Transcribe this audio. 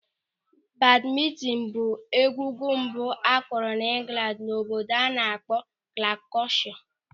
Badmintin bụ egwugwu mbụ akụrụ n'Ingland n'obodo a na-akpọ Glukoshia.